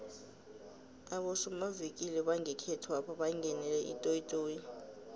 abosomavikili bangekhethwapha bangenele itoyitoyi